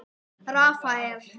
Rafael